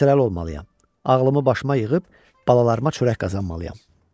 Hövsələli olmalıyam, ağlımı başıma yığıb balalarıma çörək qazanmalıyam.